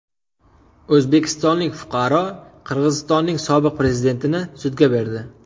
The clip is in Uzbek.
O‘zbekistonlik fuqaro Qirg‘izistonning sobiq prezidentini sudga berdi.